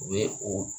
O ye o